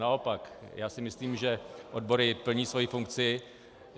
Naopak, já si myslím, že odbory plní svoji funkci.